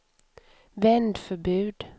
vändförbud